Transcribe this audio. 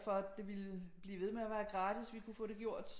For at det ville blive ved med at være gratis vi kunne få det gjort